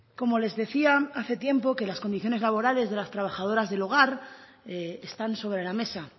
como les decía hace tiempo que las condiciones laborales de las trabajadoras del hogar están sobre la mesa